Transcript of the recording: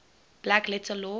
black letter law